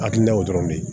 Hakilinaw dɔrɔn de ye